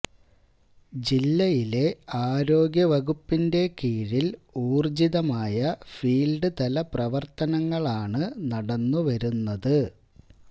ജില്ലയിലെ ആരോഗ്യവകുപ്പിന്റെ കീഴില് ഉര്ജ്ജിതമായ ഫീല്ഡ് തല പ്രവര്ത്തനങ്ങളാണ് നടന്നു വരുന്നത്